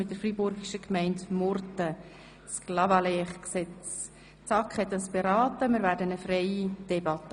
Die SAK hat es vorberaten, und wir führen eine freie Debatte.